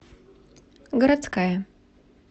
городская